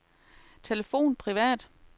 telefon privat